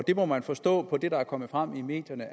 må man forstå af det der er kommet frem i medierne